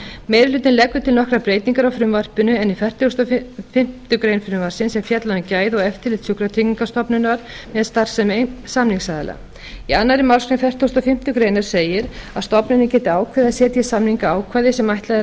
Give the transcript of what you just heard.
meiri hlutinn leggur til nokkrar breytingar á frumvarpinu en í fertugustu og fimmtu grein frumvarpsins er fjallað um gæði og eftirlit sjúkratryggingastofnunar með starfsemi samningsaðila í annarri málsgrein fertugustu og fimmtu grein segir að stofnunin geti ákveðið að setja í samninga ákvæði sem ætlað er